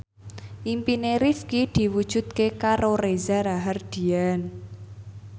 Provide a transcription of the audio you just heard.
impine Rifqi diwujudke karo Reza Rahardian